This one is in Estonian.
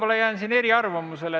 Ma jään siin võib-olla eriarvamusele.